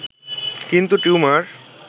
কিন্তু টিউমার